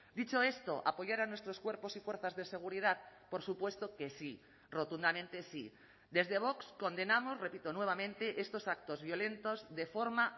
dicho esto apoyar a nuestros cuerpos y fuerzas de seguridad por supuesto que sí rotundamente sí desde vox condenamos repito nuevamente estos actos violentos de forma